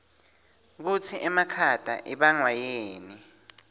kutsi emakhata ibangwayini